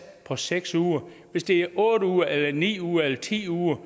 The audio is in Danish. på seks uger hvis det er otte uger eller ni uger eller ti uger